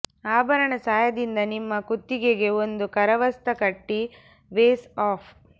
ಆಭರಣ ಸಹಾಯದಿಂದ ನಿಮ್ಮ ಕುತ್ತಿಗೆಗೆ ಒಂದು ಕರವಸ್ತ್ರ ಕಟ್ಟಿ ವೇಸ್ ಆಫ್